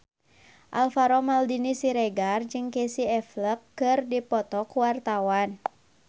Alvaro Maldini Siregar jeung Casey Affleck keur dipoto ku wartawan